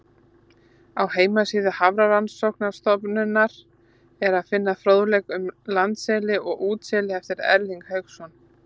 Á heimasíðu Hafrannsóknastofnunarinnar er að finna fróðleik um landseli og útseli eftir Erling Hauksson.